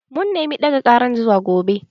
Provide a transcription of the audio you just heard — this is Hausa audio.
Mun nema ɗaga ƙaran zuwa gaba.